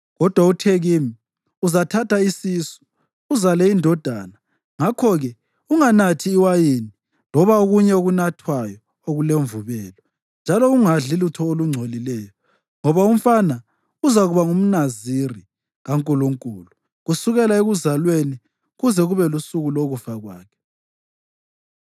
Kodwa uthe kimi, ‘Uzathatha isisu uzale indodana. Ngakho-ke unganathi iwayini loba okunye okunathwayo okulemvubelo, njalo ungadli lutho olungcolileyo, ngoba umfana uzakuba ngumNaziri kaNkulunkulu kusukela ekuzalweni kuze kube lusuku lokufa kwakhe.’ ”